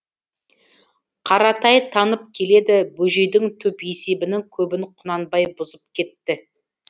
қаратай танып келеді бөжейдің түп есебінің көбін құнанбай бұзып кетті